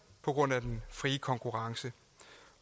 på grund af den frie konkurrence